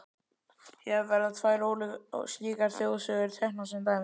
Hér verða tvær slíkar þjóðsögur teknar sem dæmi.